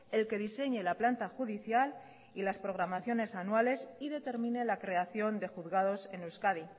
el que diseñe la planta judicial y las programaciones anuales y determine la creación de juzgados en euskadi